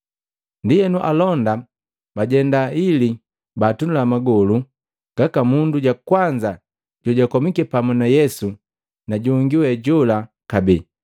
Ndienu alonda bajenda ili baatunula magolu gaka mundu ja kwanza jojakomika pamu na Yesu na jongi we jola kabee.